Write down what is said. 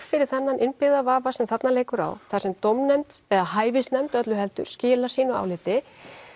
fyrir þennan innbyggða vafa sem þarna liggur á þar sem dómnefnd eða hæfisnefnd öllu heldur skilar sínu áliti